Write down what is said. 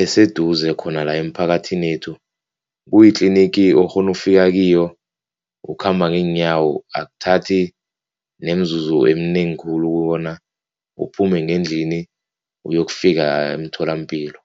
eseduze khona-la emphakathini yethu, kuyitlinigi okghona ufika kiyo ukhamba ngeenyawo, akuthathi nemizuzu eminengi khulu ukubona uphume ngendlini uyokufika emtholampilo.